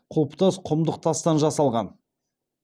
құлпытас құмдық тастан жасалған